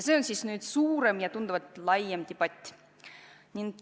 See on suurem ja tunduvalt laiem debatt.